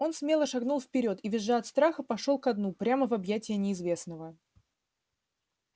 он смело шагнул вперёд и визжа от страха пошёл ко дну прямо в объятия неизвестного